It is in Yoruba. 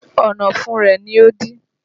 Ọ̀nà ọ̀fun rẹ ni ó dí